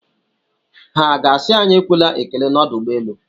Ha ga-asị anyị ekwela ekele n'ọdụ ụgbọelu?